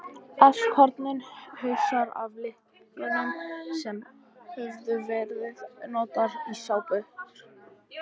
Afskornir hausar af líkömum sem höfðu verið notaðir í sápur.